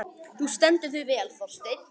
Þú stendur þig vel, Þorsteinn!